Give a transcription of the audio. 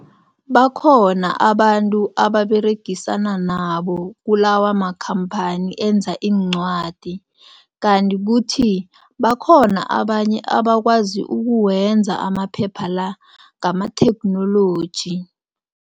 Bakhona abantu aberegisana nabo kulawa makhamphani enza iincwadi kanti kuthi bakhona abanye abakwazi ukuwenza amaphepha la ngamatheknoloji.